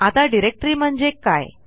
आता डिरेक्टरी म्हणजे काय